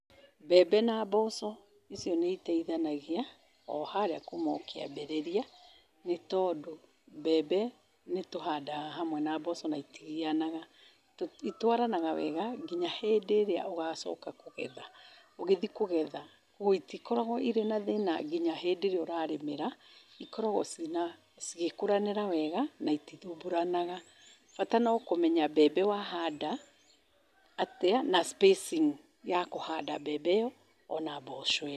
Mbembe na mboco, icio nĩ iteithanagia o harĩa kuuma o kĩambĩrĩria, nĩ tondũ mbembe nĩtũhandaga hamwe na mboco na itigianaga. Itwaranaga wega nginya hĩndĩ ĩrĩa ũgacoka kũgetha, ũgĩthiĩ kũgetha. Ũguo itikoragwo irĩ na thĩĩna nginya hĩndĩ ĩrĩa ũrarĩmĩra ikoragwo ciina, cigĩkũranĩra wega na itithumbũranaga bata no kũmenya mbembe wahanda atĩa na spacing ya kũhanda mbembe ĩyo ona mboco